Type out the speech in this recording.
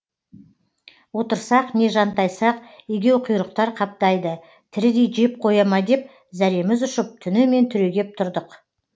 отырсақ не жантайсақ егеуқұйрықтар қаптайды тірідей жеп қоя ма деп зәреміз ұшып түнімен түрегеп тұрдық